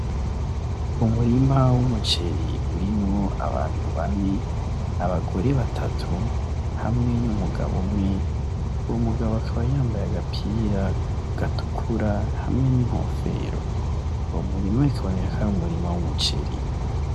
Umurima w'umuceri urimwo abantu bane , abagore batatu hamwe n'umugabo umwe , umugabo akaba yambaye agapira gatukura hamwe n'inkofero , uwo murima ukaba ar'umurima w'umuceri.